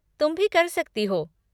तुम भी कर सकती हो।